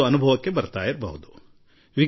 ಈ ಸುದ್ದಿಯೊಂದೇ ಉತ್ಸಾಹದೊಂದಿಗೆ ನಮ್ಮನ್ನು ಬದಲಾಯಿಸುತ್ತದೆ